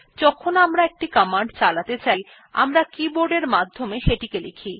যখন আমরা একটি কমান্ড চালাতে চাই আমরা কিবোর্ডের মাধ্যমে সেটি লিখি